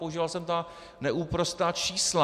Používal jsem ta neúprosná čísla.